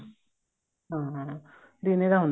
ਹਾਂ ਦਿਨੇ ਤਾਂ ਹੁੰਦਾ